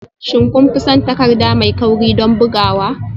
Shin kun fi son takarda mai kauri don bugawa?